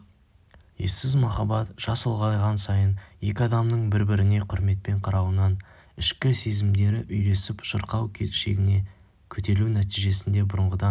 ессіз махаббат жас ұлғайған сайын екі адамның бір-біріне құрметпен қарауынан ішкі сезімдері үйлесіп шырқау шегіне көтерілу нәтижесінде бұрынғыдан